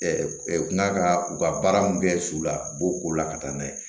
n'a ka u ka baara mun kɛ su la u b'o ko la ka taa n'a ye